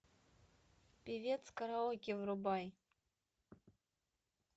певец караоке врубай